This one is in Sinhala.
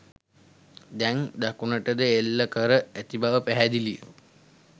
දැන් දකුණටද එල්ල කර ඇති බව පැහැදිලිය